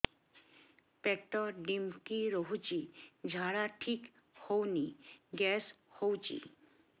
ପେଟ ଢିମିକି ରହୁଛି ଝାଡା ଠିକ୍ ହଉନି ଗ୍ୟାସ ହଉଚି